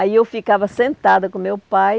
Aí eu ficava sentada com meu pai,